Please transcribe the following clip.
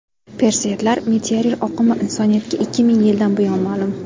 Perseidlar meteor oqimi insoniyatga ikki ming yildan buyon ma’lum.